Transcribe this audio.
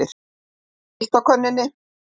Það er heitt á könnunni.